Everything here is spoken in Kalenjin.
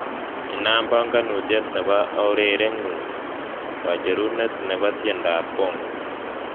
Inam banganutiet nebo urerengu, kacherune nebo tiendoab bongo